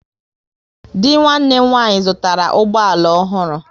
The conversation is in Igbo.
Dị nwanne m nwaanyị zụtara ụgbọ ala ọhụrụ